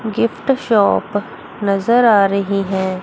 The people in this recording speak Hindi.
गिफ्ट शॉप नज़र आ रही है।